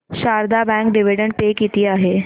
Sharda bank dividend pay किती आहे